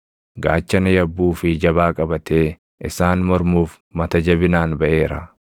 gaachana yabbuu fi jabaa qabatee isaan mormuuf mata jabinaan baʼeera.